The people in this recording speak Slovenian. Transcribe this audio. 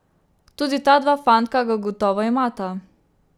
Tudi ta dva fantka ga gotovo imata.